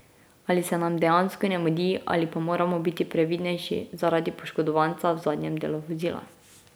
Ali se nam dejansko ne mudi ali pa moramo biti previdnejši zaradi poškodovanca v zadnjem delu vozila.